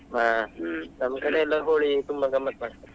ಹಾ ಹ್ಮ್ ನಮ್ ಕಡೆ ಎಲ್ಲಾ Holi ತುಂಬಾ ಗಮ್ಮತ್ತ್ ಮಾಡ್ತಾರೆ.